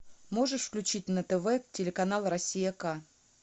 можешь включить на тв телеканал россия к